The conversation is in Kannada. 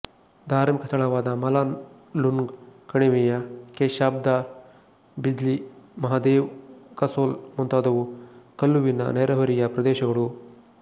ಧಾರ್ಮಿಕ ಸ್ಥಳಗಳಾದ ಮಲಾನ ಲುನ್ಗ್ ಕಣಿವೆಯ ಕೆಶ್ಧಾರ್ ಬಿಜ್ಲಿ ಮಹಾದೇವ್ ಕಸೊಲ್ ಮುಂತಾದವು ಕುಲ್ಲುವಿನ ನೆರೆಹೊರೆಯ ಪ್ರದೇಶಗಳು